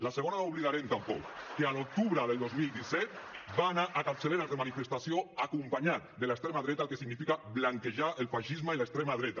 la segona no l’oblidarem tampoc que l’octubre del dos mil disset va anar a capçaleres de manifestació acompanyat de l’extrema dreta el que significa blanquejar el feixisme i l’extrema dreta